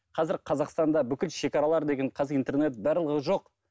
қазір қазақстанда бүкіл шегаралар деген интернет барлығы жоқ